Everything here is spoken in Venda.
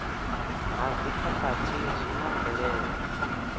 ha dzikhakhathi zwi na mvelelo